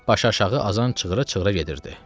Başaşağı azan çığırı-çığırı gedirdi.